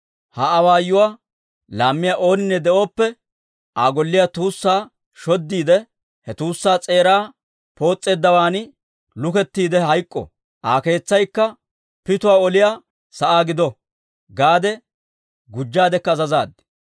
«Ha awaayuwaa laammiyaa ooninne de'oppe, ‹Aa golliyaa tuussaa shoddiide, he tuussaa s'eeraa poos'eeddawan lukettiide hayk'k'o; Aa keetsaykka pituwaa oliyaa sa'aa gido› gaade gujjaadekka azazaad.